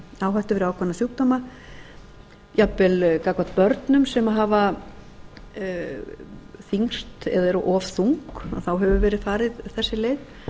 hættu fyrir ákveðna sjúkdóma jafnvel gagnvart börnum sem hafa þyngst eða eru of þung hefur verið farin þessi leið